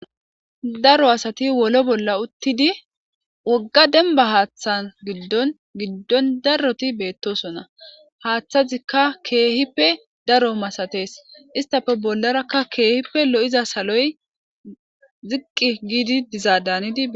Daro assati wolo bolla uttidi wogga demibba hatha giddoni darroti bettosona. Hathezikka kehippe darro masatesi etta garissara kehippe loyidda saloyi kehippe ziqi gidi bettesi